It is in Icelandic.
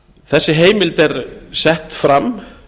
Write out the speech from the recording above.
þessi heimild er sett fram